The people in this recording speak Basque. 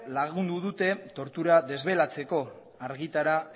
lagundu dute tortura desbelatzeko argitara